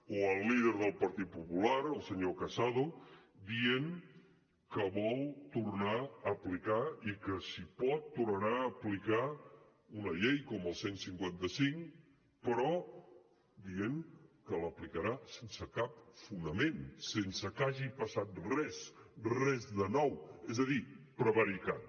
o el líder del partit popular el senyor casado dient que vol tornar a aplicar i que si pot tornarà a aplicar una llei com el cent i cinquanta cinc però dient que l’aplicarà sense cap fonament sense que hagi passat res res de nou és a dir prevaricant